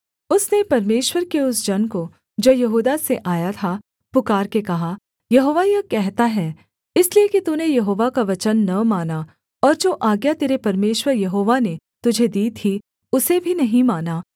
उसने परमेश्वर के उस जन को जो यहूदा से आया था पुकारके कहा यहोवा यह कहता है इसलिए कि तूने यहोवा का वचन न माना और जो आज्ञा तेरे परमेश्वर यहोवा ने तुझे दी थी उसे भी नहीं माना